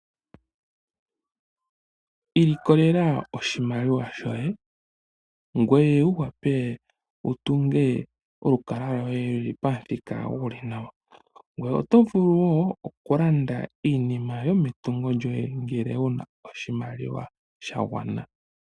Ilikolela oshimaliwa shoye ngoye wuvule okutunga olukalwa loye pamuthika gulu nawa, oto vulu woo okulanda iinima yometungo lyoye ngele wuna oshimaliwa shagwana.